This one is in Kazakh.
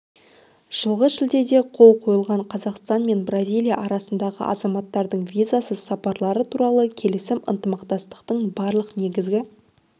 жылғы шілдеде қол қойылған қазақстан мен бразилия арасындағы азаматтардың визасыз сапарлары туралы келісім ынтымақтастықтың барлық негізгі